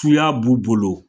SuYa b'u bolo